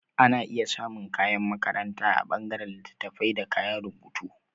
Ana iya samun kayan makaranta a ɓangaren littattafaibda kayan rubutu